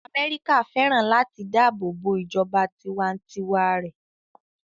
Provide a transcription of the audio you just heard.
Amẹ́ríkà fẹ́ràn láti dáàbò bo ìjọba tiwa-n-tiwa rẹ̀